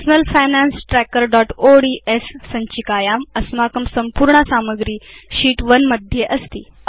personal finance trackerओड्स् सञ्चिकायां अस्माकं सम्पूर्णा सामग्री शीत् 1 उपरि अस्ति